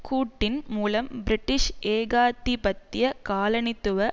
கூட்டின் மூலம் பிரிட்டிஷ் ஏகாதிபத்திய காலனித்துவ